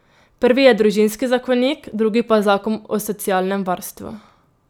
Prvi je družinski zakonik, drugi pa zakon o socialnem varstvu.